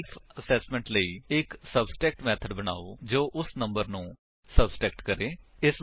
self assessment ਲਈ ਇੱਕ subtract method ਬਨਾਓ ਜੋ ਉਸ ਨੰਬਰ ਨੂੰ ਸਬਟਰੈਕਟ ਕਰੇ